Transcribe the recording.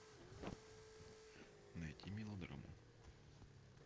найди мелодраму